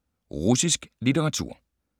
Russisk litteratur